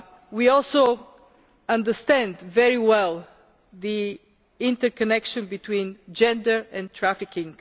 We also understand very well the interconnection between gender and trafficking.